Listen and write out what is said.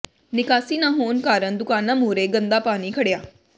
ਨਿਕਾਸੀ ਨਾ ਹੋਣ ਕਾਰਨ ਦੁਕਾਨਾਂ ਮੂਹਰੇ ਗੰਦਾ ਪਾਣੀ ਖੜਿ੍ਹਆ